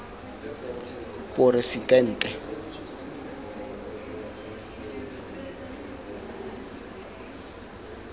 poresidente